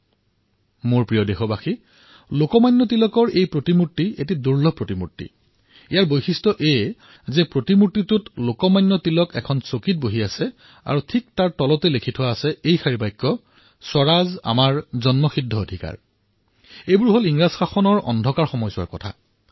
মোৰ মৰমৰ দেশবাসীসকল এই প্ৰতিমাৰ বৈশিষ্ট এয়ে যে তিলকৰ ই এনে এক দূৰ্লভ মূৰ্তি যত তেওঁ এখন আসনত বহি আছে আৰু ইয়াত লিখা আছে স্বৰাজ আমাৰ জন্মস্বত্ব অধিকাৰ